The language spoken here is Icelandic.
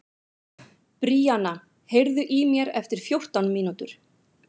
Bríanna, heyrðu í mér eftir fjórtán mínútur.